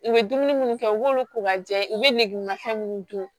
I bɛ dumuni minnu kɛ i b'olu ko ka jɛ i bɛ negemafɛn minnu dun